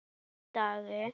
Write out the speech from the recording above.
Einn daginn?